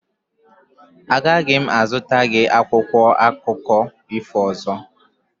Agaghị m azụta gị akwụkwọ akụkọ ifo ọzọ.